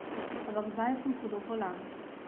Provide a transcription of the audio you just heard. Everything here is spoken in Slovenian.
Ampak zdaj sem hudo bolan.